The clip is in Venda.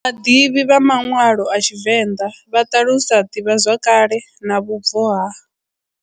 Vhaḓivhi vha manwalo a TshiVenda vha talusa divhazwakale na vhubvo ha.